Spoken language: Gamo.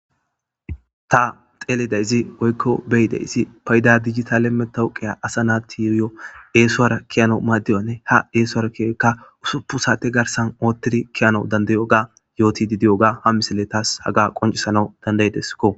ta xeelidayzi woykko beyidayssi payda dijitaleme tawqiya asa naatiriyo eesuwara kiyano maaddiyanne ha eesuwara kiyoyka usuppu saate garsan oottidi kiyano dandayoga yooti didiyoga ha misille taas haga qoncisana dandayideskko